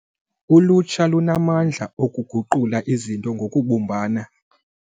Ulutsha lunamandla okuguqula izinto ngokubumbana.